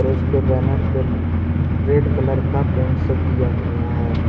उसके बैनर पे red colour का पेंट से किया गया है।